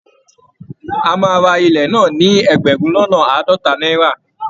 A máa ra ilẹ̀ náà ní ẹgbẹ̀rún lọ́nà àádọ́ta náírà